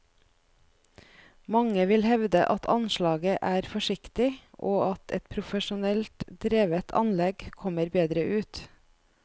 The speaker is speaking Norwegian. Mange vil hevde at anslaget er forsiktig, og at et profesjonelt drevet anlegg kommer bedre ut.